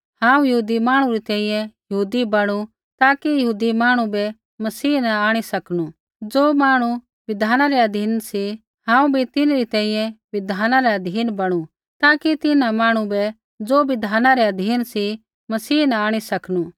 हांऊँ यहूदी मांहणु री तैंईंयैं यहूदी बणु ताकि यहूदी मांहणु बै मसीह न आंणी सकनू ज़ो मांहणु बिधाना रै अधीन सी हांऊँ भी तिन्हरी तैंईंयैं बिधाना रै अधीन बणु ताकि तिन्हां मांहणु बै ज़ो बिधाना रै अधीन सी मसीह न आंणी सकनू